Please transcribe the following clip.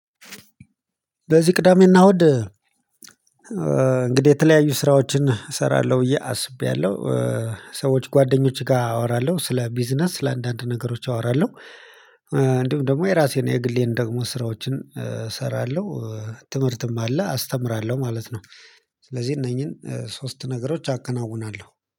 በዚህ ቅዳሜ እና እውድ እንግዲህ የተለያዩ ስራዎችን እሰራለሁ ብዬ አስቤያለሁ። ሰዎች ጓደኞቼ ጋ አወራለሁ ስለ ቢዝነስ ስለ አንዳንድ ነገሮች አወራለሁ። እንዲሁም ደግሞ የራሴን የግሌን ደግሞ ስራዎችን እሰራለሁ። ትምህርትም አለ አስተምራለሁ ማለት ነው። ስለዚህ እነኚህን ሶስት ነገሮች አከናውናለሁ